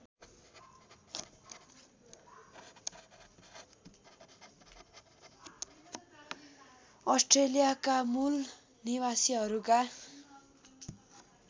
अस्ट्रेलियाका मूल निवासीहरूका